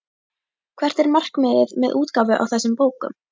Hvert er markmiðið með útgáfu á þessum bókum?